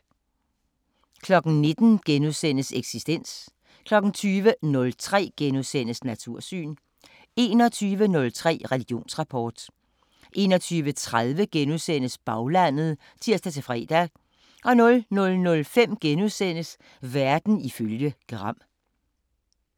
19:00: Eksistens * 20:03: Natursyn * 21:03: Religionsrapport 21:30: Baglandet *(tir-fre) 00:05: Verden ifølge Gram *